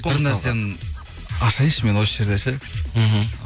бір нәрсені ашайыншы мен осы жерде ше мхм